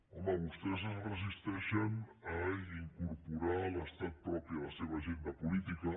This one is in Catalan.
home vostès es resisteixen a incorporar l’estat propi a la seva agenda política